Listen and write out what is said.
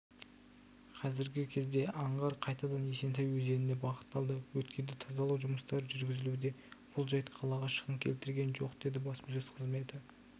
қазіргі кезде аңғар қайтадан есентай өзеніне бағытталды өткелді тазалау жұмыстары жүргізілуде бұл жайт қалаға шығын келтірген жоқ деді баспасөз қызметі